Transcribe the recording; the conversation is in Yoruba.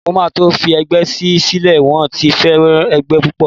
Mo máa tó fi ẹgbẹ́ yí sílẹ̀, wón ti fẹ́ràn ẹgbẹ́ púpọ̀.